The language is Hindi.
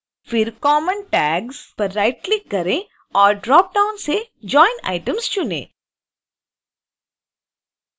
फिर common tags पर राइटक्लिक करें और ड्रॉप डाउन से join items चुनें